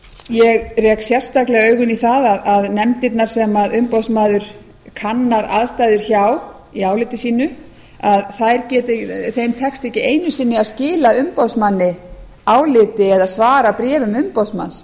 ég rek sérstaklega augun í það að nefndirnar sem umboðsmaður kannar aðstæður hjá í áliti sínu tekst ekki einu sinni að skila umboðsmanni áliti eða svara bréfum umboðsmanns